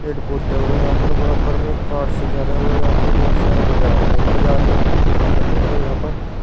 पेड़ पौधे हो रहे हैं। यहां पर बराबर में एक कार सी जा रहे हैं और यहां पर बहुत सारा बाजार है और बाजार में टेंपो से खडे हैं और यहां पर --